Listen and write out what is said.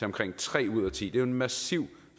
omkring tre ud af ti det er jo en massiv